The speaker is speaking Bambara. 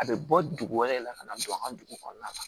A bɛ bɔ dugu wɛrɛ de la ka na don an ka dugu kɔnɔna na